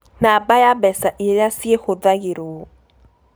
Namba ya mbeca iria ciĩhũthagĩrũo: